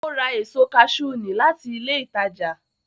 Ó ra èso kaṣú ní láti ilé ìtajà